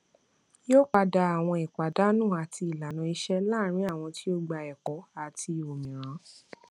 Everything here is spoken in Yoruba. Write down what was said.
yóò padà àwọn ìpàdánù àti ìlànà iṣẹ láàrin àwọn tí ó gbà ẹkọ àti òmíràn